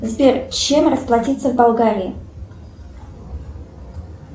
сбер чем расплатиться в болгарии